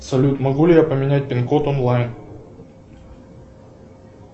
салют могу ли я поменять пин код онлайн